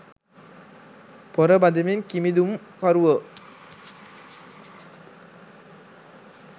පොර බදිමින් කිමිදුම් කරුවෝ